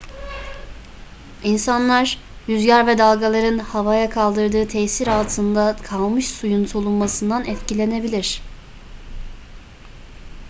i̇nsanlar rüzgar ve dalgaların havaya kaldırdığı tesir altında kalmış suyun solunmasından etkilenebilir